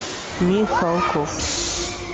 михалков